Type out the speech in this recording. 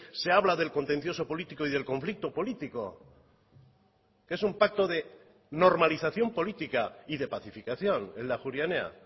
se habla del contencioso político y del conflicto político que es un pacto de normalización política y de pacificación el de ajuria enea